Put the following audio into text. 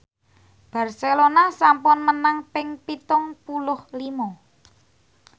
Barcelona sampun menang ping pitung puluh lima